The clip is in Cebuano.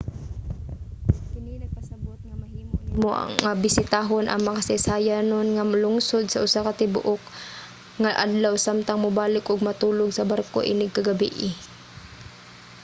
kini nagpasabot nga mahimo nimo nga bisitahon ang makasaysayanon nga lungsod sa usa ka tibuok nga adlaw samtang mubalik ug matulog sa barko inig ka gabii